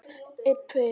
Elsku Sigga frænka.